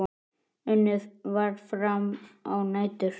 Unnið var fram á nætur.